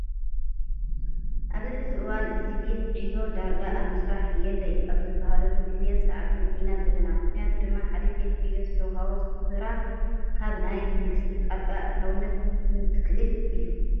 ኣብዚ ሕዚ እዋን እዚ ቤት ዕዮ ዳርጋ ኣብ ምስራሕ የለይ ኣብ ዝበሃለሉ ግዘን ሰዓትን ኢና ዘለና። ምክንያቱ ድማ ሓደ ቤት ዕዮ ዝተውሃቦ ስራ ካብ ናይ መንግስቲ ጣልቃ ኣእታውነት እንትክእል እዩ።